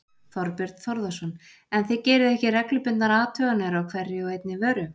Þorbjörn Þórðarson: En þið gerið ekki reglubundnar athuganir á hverri og einni vöru?